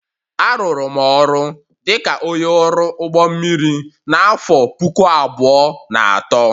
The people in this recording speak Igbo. Arụụrụ m ọrụ dị ka onye ọrụ ụgbọ mmiri n'afọ puku abụọ na atọ